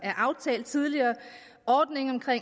tidligere